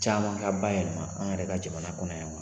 Caman ka ba yɛlɛma an yɛrɛ ka jamana kɔnɔ yan wa?